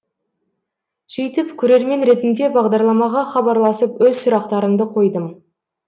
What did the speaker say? сөйтіп көрермен ретінде бағдарламаға хабарласып өз сұрақтарымды қойдым